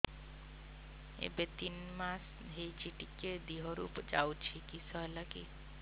ଏବେ ତିନ୍ ମାସ ହେଇଛି ଟିକିଏ ଦିହରୁ ଯାଉଛି କିଶ ହେଲାକି